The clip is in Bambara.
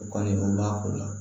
O kɔni o b'a ko la